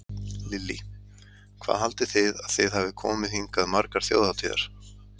Lillý: Hvað haldið þið að þið hafið komið hingað margar þjóðhátíðar?